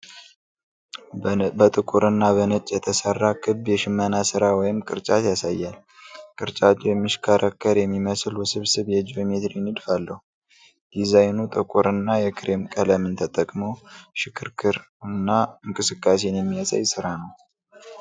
በጥቁር እና በነጭ የተሰራ ክብ የሽመና ሥራ ወይም ቅርጫት ያሳያል። ቅርጫቱ የሚሽከረከር የሚመስል ውስብስብ የጂኦሜትሪክ ንድፍ አለው። ዲዛይኑ ጥቁር እና የክሬም ቀለምን ተጠቅሞ ሽክርክር እና እንቅስቃሴን የሚያሳይ ስራ ነው።